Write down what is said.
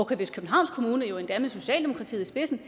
københavns kommune og jo endda med socialdemokratiet i spidsen